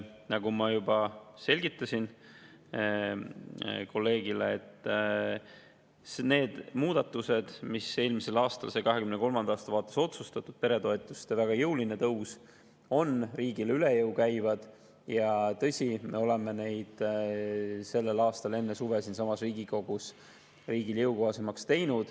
Nagu ma juba selgitasin kolleegile, need muudatused, mis said eelmisel aastal 2023. aasta vaates otsustatud – ka peretoetuste väga jõuline tõus – käivad riigile üle jõu ja tõsi, me tegime neid sellel aastal enne suve siinsamas Riigikogus riigile jõukohasemaks.